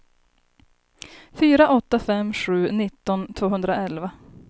fyra åtta fem sju nitton tvåhundraelva